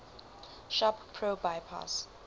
shop pro bypass